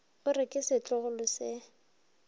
o re ke setlogolo se